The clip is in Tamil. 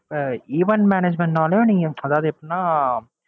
அஹ் event management னாலும் நீங்க அதாவது எப்படின்னா,